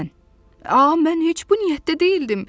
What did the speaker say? Ah, mən heç bu niyyətdə deyildim.